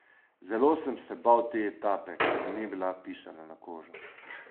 Zelo sem se bal te etape, ki mi ni bila pisana na kožo.